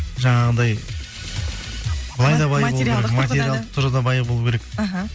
жаңағындай былай да бай болу керек материалдық тұрғыда бай болу керек іхі